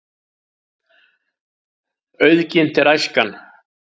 Auðginnt er æskan.